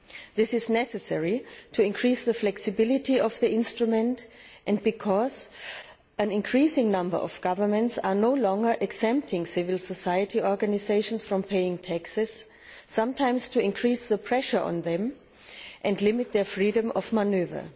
This is necessary to increase the flexibility of the instrument and because an increasing number of governments are no longer exempting civil society organisations from paying taxes sometimes to increase the pressure on them and limit their freedom of manoeuvre.